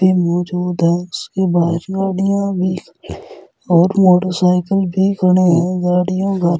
भी मौजूद है उसके बाहर गाड़ियां भी और मोटरसाइकिल भी खड़े हैं गाड़ियों का --